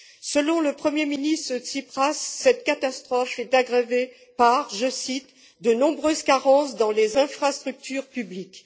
Selon le premier ministre Tsipras, cette catastrophe est aggravée par, je cite, de nombreuses carences dans les infrastructures publiques.